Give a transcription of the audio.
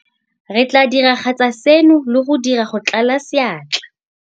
Re tla diragatsa seno le go dira go tlala seatla.